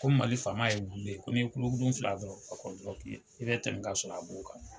Ko mali faama yeru be yen, ko ni ye kolokuru fili a kɔrɔ dɔrɔn k' i bɛ tɛmɛ k'a sɔrɔ a b'o kan.